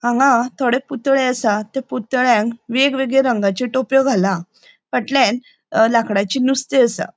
हांगा थोड़े पुतळे आसा त्या पुतळ्यांक वेगवेगळे रंगाचे टोपयो घाला फाटल्यान लाकडाची नुस्ती आसा.